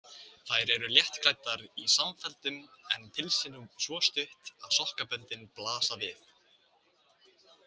Þær eru léttklæddar í samfellum en pilsin svo stutt að sokkaböndin blasa við.